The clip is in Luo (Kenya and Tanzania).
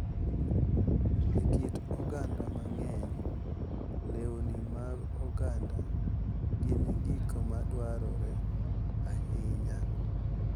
E kit oganda mang’eny, lewni mag oganda gin gik ma dwarore ahinya,